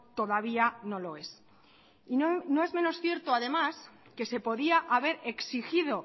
todavía no lo es y no es menos cierto además que se podía haber exigido